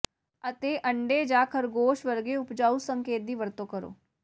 ਅਤੇ ਅੰਡੇ ਜਾਂ ਖਰਗੋਸ਼ ਵਰਗੇ ਉਪਜਾਊ ਸੰਕੇਤ ਦੀ ਵਰਤੋਂ ਕਰੋ